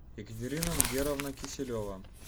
екатерина мгеровна киселева